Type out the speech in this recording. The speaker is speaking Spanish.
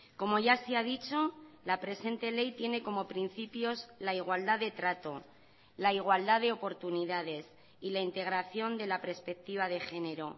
como ya se ha dicho la presente ley tiene como principios la igualdad de trato la igualdad de oportunidades y la integración de la perspectiva de género